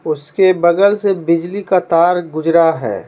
उसके बगल से बिजली का तार गुजरा है।